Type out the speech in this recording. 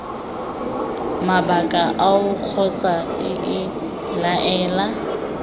mabaka ao kgotsa iii laela